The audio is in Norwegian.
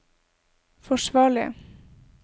forsvarlig